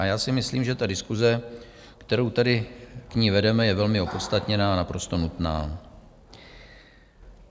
A já si myslím, že ta diskuse, kterou tedy k ní vedeme, je velmi opodstatněná a naprosto nutná.